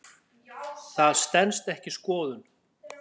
Það stenst ekki skoðun.